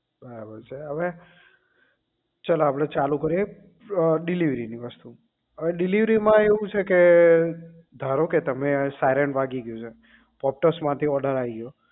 પણ હવે ચલો આપણે ચાલુ કરીએ અ delivery ની વસ્તુ અવે delivery માં એવું છે કે ધારોકે તમે siren વાગી ગયું છે પોપટસ માંથી order આઈ ગયો